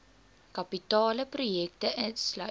kapitale projekte sluit